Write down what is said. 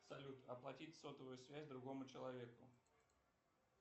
салют оплатить сотовую связь другому человеку